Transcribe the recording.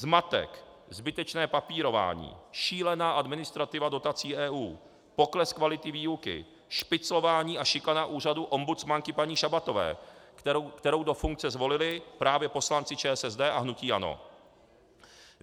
Zmatek, zbytečné papírování, šílená administrativa dotací EU, pokles kvality výuky, špiclování a šikana úřadu ombudsmanky paní Šabatové, kterou do funkce zvolili právě poslanci ČSSD a hnutí ANO.